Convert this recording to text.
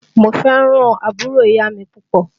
Mo fẹ́ràn àbúrò ìyá mi púpọ̀